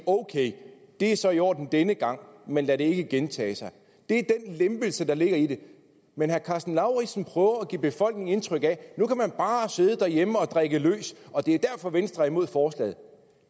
ok det er så i orden denne gang men lad det ikke gentage sig det er den lempelse der ligger i det men herre karsten lauritzen prøver at give befolkningen indtryk af at nu kan man bare sidde derhjemme og drikke løs og det er derfor at venstre er imod forslaget